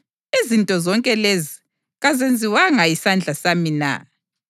Izinto zonke lezi kazenziwanga yisandla sami na?’ + 7.50 U-Isaya 66.1-2